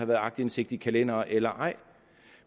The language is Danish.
været aktindsigt i kalendere eller ej